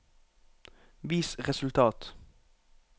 vis resultat